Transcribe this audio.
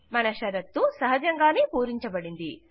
మన షరతు సహజంగానే పూరించబడింది